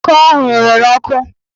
Ọka ọ hụrụ rere ọkụ